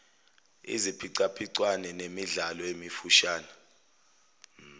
iziphicaphicwano nemidlalo emifushane